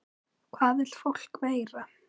Hvað vill fólk meira?